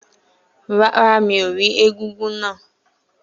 Rárá, mi ò rí egúngún náà.